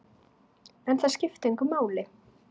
En það skipti engu máli.